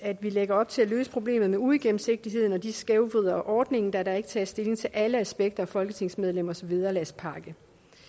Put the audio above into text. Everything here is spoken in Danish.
at vi lægger op til at løse problemet med uigennemsigtigheden og den skævvridning af ordningen da der ikke tages stilling til alle aspekter af folketingsmedlemmers vederlagspakke